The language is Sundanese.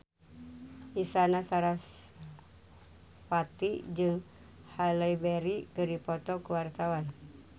Isyana Sarasvati jeung Halle Berry keur dipoto ku wartawan